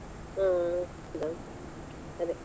ಹಾ ಹೌದಾ ಅದೇ.